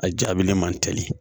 A jabilen man teli